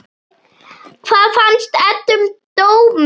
Hvað fannst Eddu um dóminn?